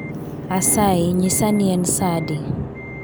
Asayi nyisa ni en sa adi